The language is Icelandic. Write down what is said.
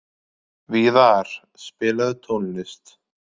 Víðar, spilaðu tónlist.